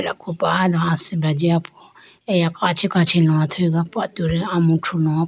Khopano asibra jiyapo eya kachi kachi lowa athuyigo po atudi amuthru loga po.